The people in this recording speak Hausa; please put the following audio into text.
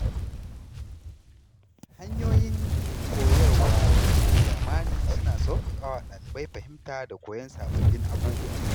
Hanyoyin koyarwa na zamani suna sauƙaƙa wa ɗalibai fahimta da koyon sababbin abubuwa.